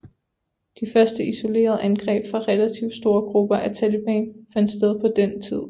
De første isolerede angreb fra relativt store grupper af taliban fandt sted på den tid